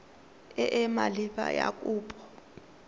e e maleba ya kopo